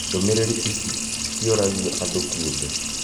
Ndũmĩrĩri ici cioragio andũ kĩũmbe